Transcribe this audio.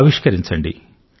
ఆవిష్కరించండి